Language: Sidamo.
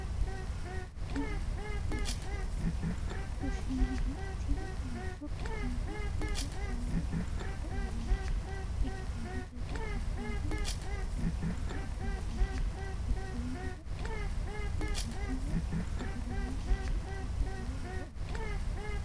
Kuni kushiinaho, tini mancho kushiinu gidoo shoole mixasho aleenni ikkitanotera budeenabgantanni afantanno budeenu manahoo sagalimate woyi itate lowo horo aanno